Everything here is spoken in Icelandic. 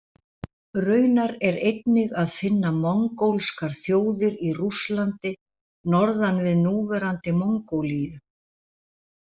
Raunar er einnig að finna mongólskar þjóðir í Rússlandi norðan við núverandi Mongólíu.